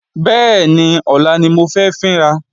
Bẹ́ẹ̀ni, ọlá ni mo fẹ́ fín ra